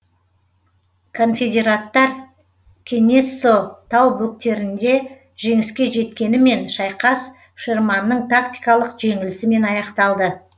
конфедераттар кенессо тау бөктерінде жеңіске жеткенімен шайқас шерманның тактикалық жеңілісімен аяқталды